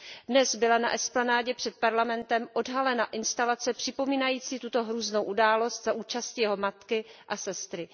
Dnes byla na esplanádě před Parlamentem odhalena instalace připomínající tuto hrůznou událost za účasti jeho matky a sestry.